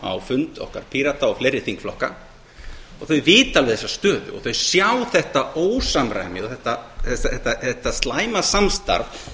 á fund okkar pírata og fleiri þingflokka og þau vita þessa stöðu og þau sjá þetta ósamræmi og þetta slæma samstarf